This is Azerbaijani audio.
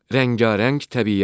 Rəngarəng təbiət.